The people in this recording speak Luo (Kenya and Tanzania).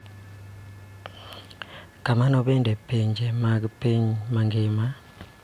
Kamano bende, pinje mag piny mangima .